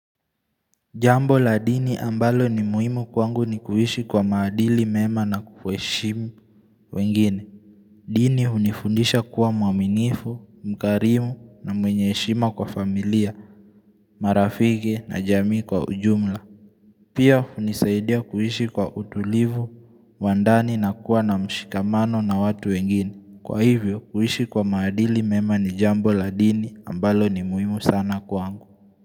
Jambo la dini ambalo ni muhimu kwangu ni kuhishi kwa maadili mema na kuheshimu wengine. Dini unifundisha kuwa mwaminifu, mkarimu na mwenye heshima kwa familia, marafiki na jamii kwa ujumla. Pia unizaidia kuhishi kwa utulivu, wandani na kuwa na mshikamano na watu wengine. Kwa hivyo kuhishi kwa maadili mema ni jambo la dini ambalo ni muhimu sana kwangu.